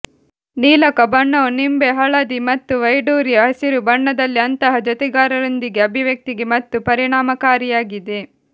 ನೀಲಕ ಬಣ್ಣವು ನಿಂಬೆ ಹಳದಿ ಮತ್ತು ವೈಡೂರ್ಯ ಹಸಿರು ಬಣ್ಣದಲ್ಲಿ ಅಂತಹ ಜೊತೆಗಾರರೊಂದಿಗೆ ಅಭಿವ್ಯಕ್ತಿಗೆ ಮತ್ತು ಪರಿಣಾಮಕಾರಿಯಾಗಿದೆ